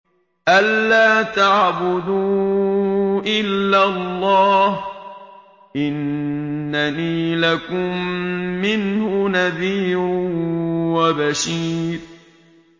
أَلَّا تَعْبُدُوا إِلَّا اللَّهَ ۚ إِنَّنِي لَكُم مِّنْهُ نَذِيرٌ وَبَشِيرٌ